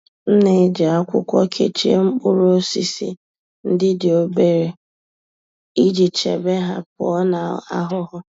M na-eji akwụkwọ kechie mkpụrụ osisi ndi dị obere iji chebe ha pụọ na ahụhụ.